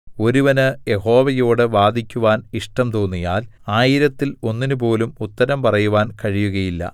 ഒരുവന് യഹോവയോട് വാദിക്കുവാൻ ഇഷ്ടം തോന്നിയാൽ ആയിരത്തിൽ ഒന്നിനു പോലും ഉത്തരം പറയുവാൻ കഴിയുകയില്ല